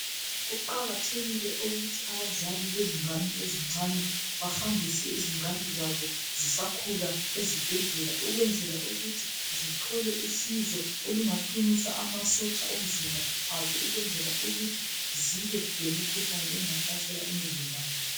kuqakathekile ukuthi abazali bengane ezincane behambise izingane zaba zisakhula ezibhedlela ukuze zithole usizo olungaqinisa amasotsha omzimba azo ukwenzela ukuthi zilwe lemikhuhlane engahlasela imizimba yabo.